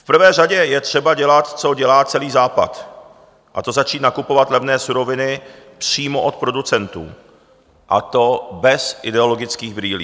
V prvé řadě je třeba dělat, co dělá celý Západ, a to začít nakupovat levné suroviny přímo od producentů, a to bez ideologických brýlí.